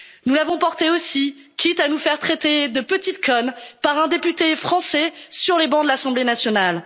Paris. Nous les avons portés aussi, quitte à nous faire traiter de petites connes par un député français sur les bancs de l'Assemblée nationale.